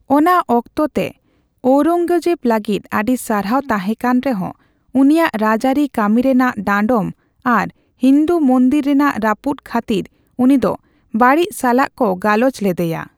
ᱚᱱᱟ ᱚᱠᱛᱚ ᱛᱮ ᱳᱭᱨᱚᱝᱜᱚᱡᱮᱵ ᱞᱟᱹᱜᱤᱫ ᱟᱹᱰᱤ ᱥᱟᱨᱦᱟᱣ ᱛᱟᱦᱮᱸ ᱠᱟᱱ ᱨᱮᱦᱚᱸ; ᱩᱱᱤᱭᱟᱜ ᱨᱟᱡᱽᱟᱹᱨᱤ ᱠᱟᱹᱢᱤ ᱨᱮᱱᱟᱜ ᱰᱟᱸᱰᱚᱢ ᱟᱨ ᱦᱤᱱᱫᱩ ᱢᱚᱱᱫᱤᱨ ᱨᱮᱱᱟᱜ ᱨᱟᱹᱯᱩᱫ ᱠᱷᱟᱹᱛᱤᱨ ᱩᱱᱤ ᱫᱚ ᱵᱟᱹᱲᱤᱡ ᱥᱟᱞᱟᱜ ᱠᱚ ᱜᱟᱞᱚᱪ ᱞᱮᱫᱮᱭᱟ ᱾